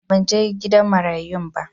A'a, ban he gidan marayun ba.